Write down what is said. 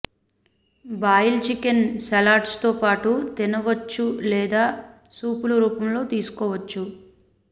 boil chicken salads తో పాటు తినవచ్చు లేదా సూపుల రూపంలో తీసుకోవచ్చు